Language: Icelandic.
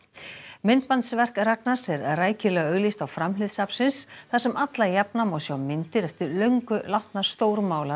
myndbandsverk Ragnars er rækilega auglýst á framhlið safnsins þar sem alla jafna má sjá myndir eftir löngu látna